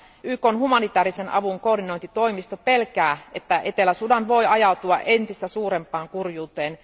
YKn humanitaarisen avun koordinointitoimisto pelkää, että Etelä Sudan voi ajautua entistä suurempaan kurjuuteen.